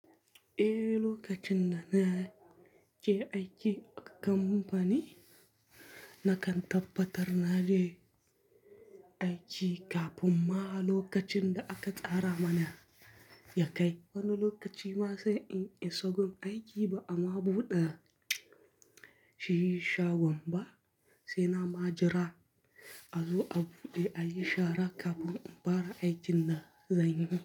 Eh, lokacin da na je aiki a kamfani na kan tabbatar na je aiki kafin ma lokacin da aka tsara mana ya kai. Wani lokaci ma sai in isa gun aiki ba'ama buɗe shi shagon ba sai na ma jira. A zo buɗe, a yi shara kafin in fara aikin na zanyi.